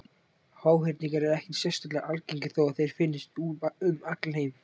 Háhyrningar eru ekkert sérstaklega algengir þó að þeir finnist um allan heim.